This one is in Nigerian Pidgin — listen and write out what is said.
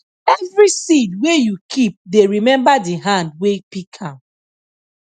every seed wey you keep dey remember the hand wey pick am